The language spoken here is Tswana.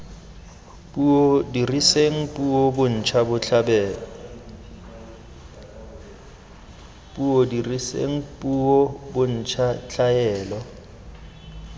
puo diriseng puo bontsha tlhaelo